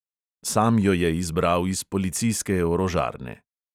Sam jo je izbral iz policijske orožarne.